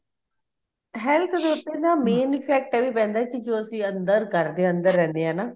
health ਦੇ ਉੱਤੇ ਨਾ effect ਇਹ ਵੀ ਪੈਂਦਾ ਵੀ ਕੀ ਜੋ ਅਸੀਂ ਅੰਦਰ ਘਰ ਦੇ ਅੰਦਰ ਰਹਿੰਦੇ ਆ ਨਾ